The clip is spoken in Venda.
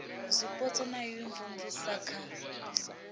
zwipotso na u imvumvusa kha